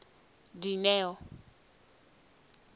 dineo